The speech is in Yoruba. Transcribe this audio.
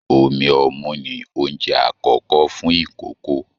Omí ọmu ní oúnjẹ àkọ́kọ́ fún ikòkò.